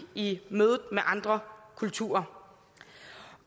i mødet med andre kulturer